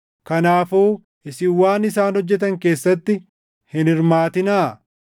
Kanaafuu isin waan isaan hojjetan keessatti hin hirmaatinaa.